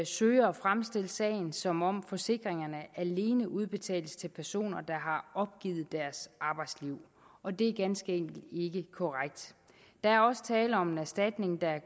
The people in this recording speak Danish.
søger at fremstille sagen som om forsikringerne alene udbetales til personer der har opgivet deres arbejdsliv og det er ganske enkelt ikke korrekt der er også tale om en erstatning der